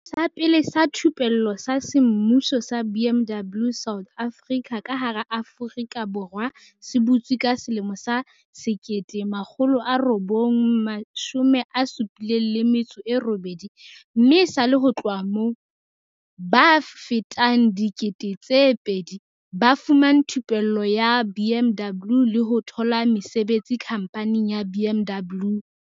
"Setsha sa pele sa thupello sa semmuso sa BMW South Africa ka hara Aforika Borwa se butswe ka selemo sa 1978 mme esale ho tloha moo, ba fetang 2 000 ba fumane thupello ya BMW le ho thola mesebetsi khamphaning ya BMW."